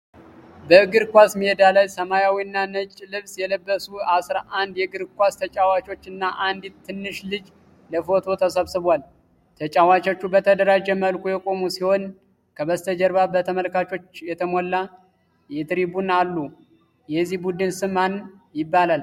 በእግር ኳስ ሜዳ ላይ ሰማያዊና ነጭ ልብስ የለበሱ አስራ አንድ የእግር ኳስ ተጫዋቾች እና አንዲት ትንሽ ልጅ ለፎቶ ተሰብስበዋል። ተጫዋቾቹ በተደራጀ መልኩ የቆሙ ሲሆን፣ ከበስተጀርባ በተመልካቾች የተሞላ ትሪቡን አሉ። የዚህ ቡድን ስም ማን ይባላል?